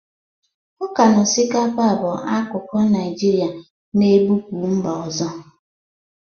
Ọka na osikapa bụ akụkụ Naijirịa na-ebụpu mba ọzọ.